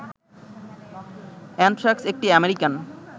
anthrax একটি American